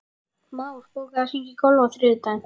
Már, bókaðu hring í golf á þriðjudaginn.